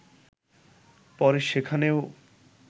পরে সেখানেও